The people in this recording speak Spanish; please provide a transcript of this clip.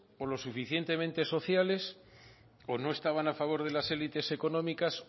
o lo suficientemente sociales o no estaban a favor de las élites económicas